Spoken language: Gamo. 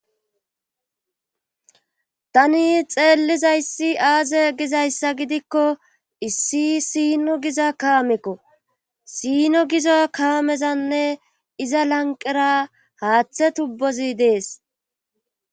Tani xeellizayssi aaze gizayssa gidikko issi siino giza kaamekko siino giza kaamezanne iza lanqera haaththe tubbozi dees.